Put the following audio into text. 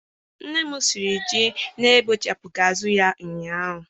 Nne m siri ji na-ebechapụghị azụ ya ụnyahụ.